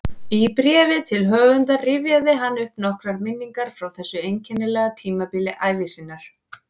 Í bréfi til höfundar rifjaði hann upp nokkrar minningar frá þessu einkennilega tímabili ævi sinnar